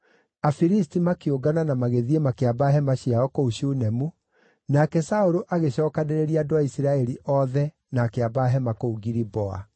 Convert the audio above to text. Afilisti makĩũngana na magĩthiĩ makĩamba hema ciao kũu Shunemu, nake Saũlũ agĩcookanĩrĩria andũ a Isiraeli othe na akĩamba hema kũu Giliboa.